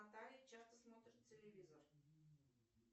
наталья часто смотрит телевизор